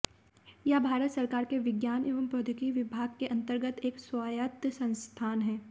यह भारत सरकार के विज्ञान एवं प्रौद्योगिकी विभाग के अंतर्गत एक स्वायत्त संस्थान है